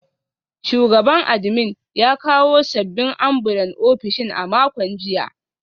Shugaban admin ya kawo sabbin ambulan ofishin a makon jiya